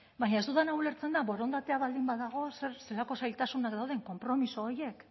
baina ez dudana ulertzen da borondatea baldin badago zelako zailtasunak dauden konpromiso horiek